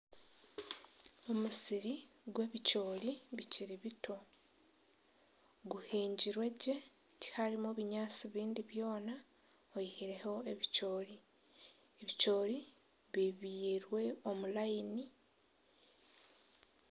Omusiri gw'ebicoori bikiri bito guhingirwe gye. Tiharimu binyaatsi bindi byona oyihireho ebicoori. Ebicoori bibyirwe omu layini.